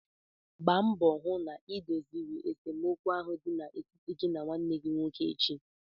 Gba mbọ hụ na idoziri esemokwu ahụ dị n'etiti gị na nwanne gị nwoke echi!